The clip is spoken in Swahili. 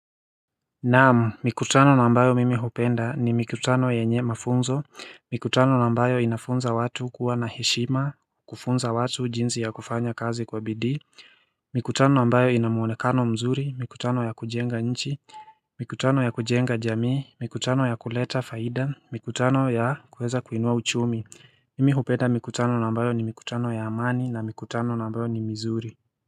Naamu mikutano na ambayo mimi hupenda ni mikutano yenye mafunzo, mikutano na ambayo inafunza watu kuwa na heshima, kufunza watu jinsi ya kufanya kazi kwa bidii mikutano nambayo ina muonekano mzuri, mikutano ya kujenga nchi, mikutano ya kujenga jamii, mikutano ya kuleta faida, mikutano ya kuweza kuinua uchumi Mimi hupenda mikutano na ambayo ni mikutano ya amani na mikutano na ambayo ni mzuri.